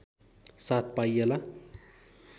साथ पाइएला